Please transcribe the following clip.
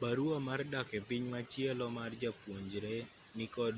barua mar dak epiny machielo mar japuonjre nikod